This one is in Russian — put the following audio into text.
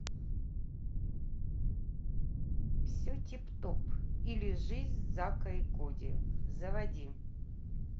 все тип топ или жизнь зака и коди заводи